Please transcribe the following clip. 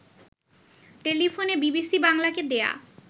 টেলিফোনে বিবিসি বাংলাকে দেয়া